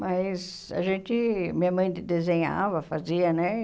Mas a gente, minha mãe desenhava, fazia, né?